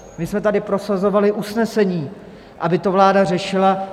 My jsme tady prosazovali usnesení, aby to vláda řešila.